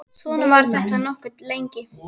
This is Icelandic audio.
Svona var þetta nokkuð lengi.